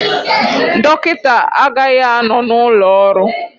Dọkịta agaghị anọ n'ụlọ ọrụ